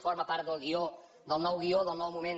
forma part del guió del nou guió del nou moment